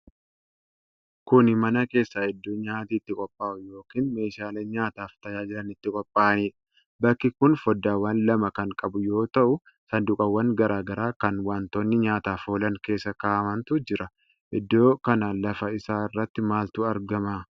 Kuni mana keessa iddoo nyaati itti qophaa'u yookin meeshaaleen nyaataaf tajaajilan itti qulqullaa'anidha. Bakki kun foddaawwan lama kan qabu yoo ta'u, saanduqawwan garaa garaa kan wantoonni nyaataaf oolan keessa kaa'amantu jira. Idoo kana lafa isaa irratti maaltu argama?